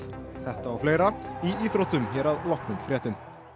þetta og fleira í íþróttum hér að loknum fréttum